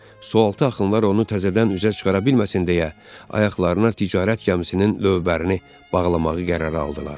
Sualtı axınlar onu təzədən üzə çıxara bilməsin deyə, ayaqlarına ticarət gəmisinin lövbərini bağlamağı qərara aldılar.